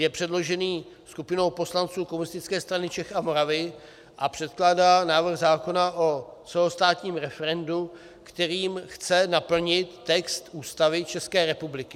Je předložen skupinou poslanců Komunistické strany Čech a Moravy a předkládá návrh zákona o celostátním referendu, kterým chce naplnit text Ústavy České republiky.